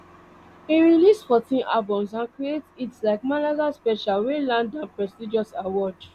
e release fourteen albums and create hits like mangala special wey land am prestigious award